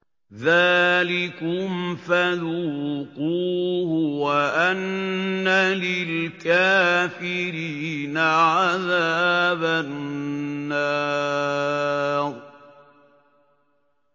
ذَٰلِكُمْ فَذُوقُوهُ وَأَنَّ لِلْكَافِرِينَ عَذَابَ النَّارِ